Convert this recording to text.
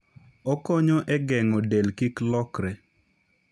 Okonyo e geng'o del kik lokre.